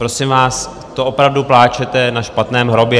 Prosím vás, to opravdu pláčete na špatném hrobě.